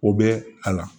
O bɛ a la